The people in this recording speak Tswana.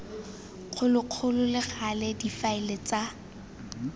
kgologolo le gale difaele tsa